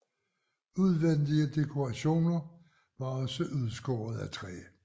Udvendige dekorationer var også udskåret af træ